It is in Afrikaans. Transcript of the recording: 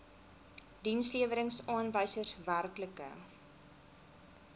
dienslewerings aanwysers werklike